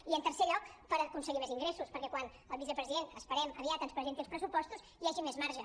i en tercer lloc per aconseguir més ingressos perquè quan el vicepresident es·perem aviat ens presenti els pressupostos hi hagi més marge